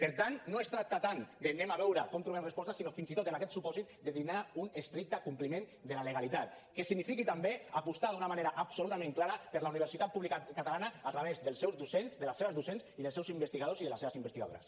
per tant no es tracta tant d’ anem a veure com trobem respostes sinó fins i tot en aquest supòsit de donar un estricte compliment a la legalitat que signifiqui també apostar d’una manera absolutament clara per la universitat pública catalana a través dels seus docents de les seves docents i dels seus investigadors i de les seves investigadores